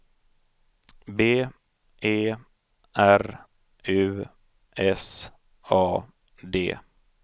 B E R U S A D